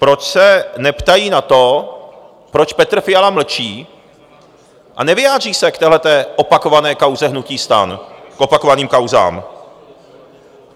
Proč se neptají na to, proč Petr Fiala mlčí a nevyjádří se k téhleté opakované kauze hnutí STAN, k opakovaným kauzám?